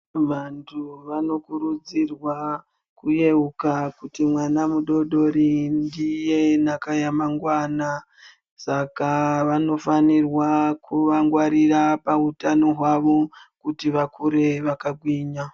Vantu vanokurudzirwa kuyeuka kuti mwana mudodori ndiye nhaka yamangwana, saka vanofanirwa kuvangwarira pautano hwavo kuti vakure vakagwinya.